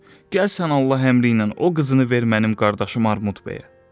Gəl sən Allah əmri ilə o qızını ver mənim qardaşım Armud bəyə.